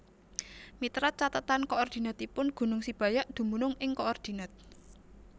Miterat cathetan koordinatipun gunung Sibayak dumunung ing koordinat